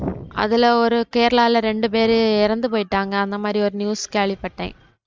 அதுல ஒரு கேரளாக ரெண்டு பேர் இறந்து போய்ட்டாங்க. அந்த மாதிரி ஒரு news கேள்வி பட்டேன்.